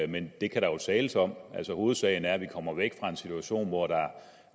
men det kan der jo tales om hovedsagen er at vi kommer væk fra en situation hvor